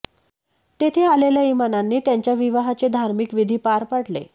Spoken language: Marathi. तेथे आलेल्या इमामांनी त्यांच्या विवाहाचे धार्मिक विधी पार पाडले